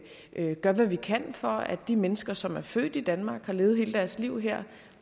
vi gør hvad vi kan for at de mennesker som er født i danmark og har levet hele deres liv her